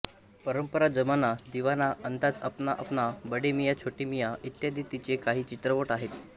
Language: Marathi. परंपरा जमाना दीवाना अंदाज अपना अपना बडे मियां छोटे मियां इत्यादी तिचे काही चित्रपट आहेत